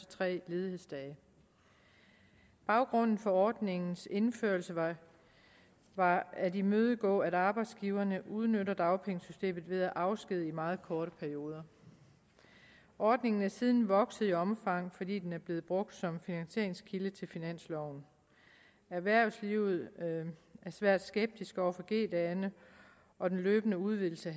tre ledighedsdage baggrunden for ordningens indførelse var var at imødegå at arbejdsgiverne udnytter dagpengesystemet ved at afskedige i meget korte perioder ordningen er siden vokset i omfang fordi den er blevet brugt som finansieringskilde til finansloven erhvervslivet er svært skeptisk over for g dagene og den løbende udvidelse